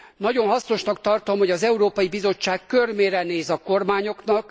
Nagyon hasznosnak tartom, hogy az Európai Bizottság körmére néz a kormányoknak.